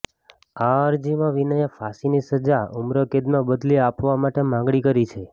આ અરજીમાં વિનયે ફાંસીની સજા ઉમ્રકેદમાં બદલી આપવા માટે માગણી કરી છે